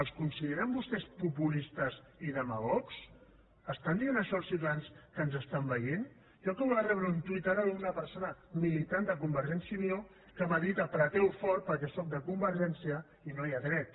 els consideren vostès populistes i demagogs estan dient això als ciutadans que ens estan veient jo acabo de rebre un tuit ara d’una persona militant de convergència i unió que m’ha dit apreteu fort perquè sóc de convergència i no hi ha dret